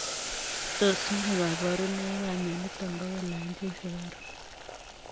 Tos nee kabarunoik ap mionitok poo kolaany chi sukaruuk?